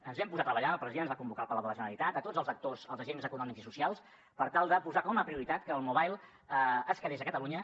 ens vam posar a treballar el president ens va convocar al palau de la generalitat a tots els actors els agents econòmics i socials per tal de posar com a prioritat que el mobile es quedés a catalunya